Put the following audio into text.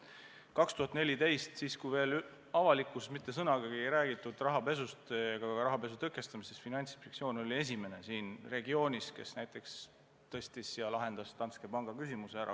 2014. aastal, kui avalikkuses polnud mitte sõnagi räägitud rahapesust ega rahapesu tõkestamisest, oli Finantsinspektsioon esimene siin regioonis, kes tõstatas Danske Banki küsimuse ja lahendas selle ära.